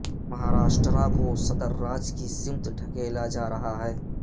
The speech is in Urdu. مہاراشٹرا کو صدر راج کی سمت ڈھکیلا جارہا ہے